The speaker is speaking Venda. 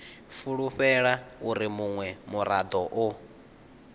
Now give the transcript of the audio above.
fulufhela uri munwe murado o